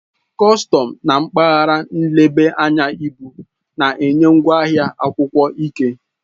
Kọstọm na mpaghara nleba anya ibu na-enye ngwaahịa akwụkwọ ike.